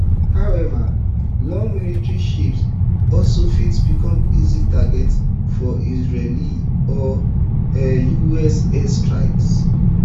however large military ships also fit become easy targets for israeli or um us airstrikes